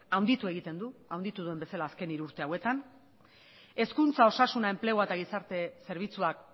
handitu egiten du handitu duen bezala azken hiru urte hauetan hezkuntza osasuna enplegua eta gizarte zerbitzuak